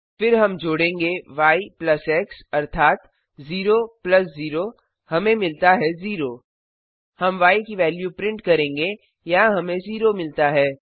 फिर हम जोडेंगे य प्लस एक्स अर्थात 0 प्लस 0 हमें मिलता है 0 हम य की वेल्यू प्रिंट करेंगे यहां हमें 0 मिलता है